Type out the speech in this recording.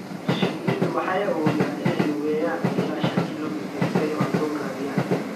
Shinnidu waxay awoodaan inay lugeeyaan ilaa shan kiiloomitir si ay cunto u raadiyaan.